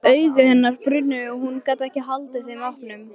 Augu hennar brunnu og hún gat ekki haldið þeim opnum.